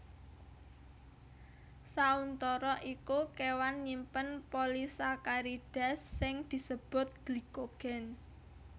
Sauntara iku kéwan nyimpen polisakarida sing disebut glikogen